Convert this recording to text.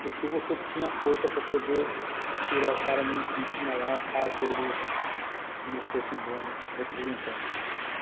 porque você tinha força para poder tirar o cara no impeachment lá, caso ele não fosse um bom representante.